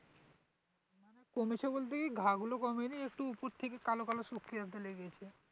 কমেছে বলতে কি ঘা গুলো কমেনি একটু উপর থেকে কালো কালো শুখিয়েছে